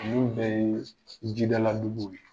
Ninnu bɛɛ ye jidala duguw ye.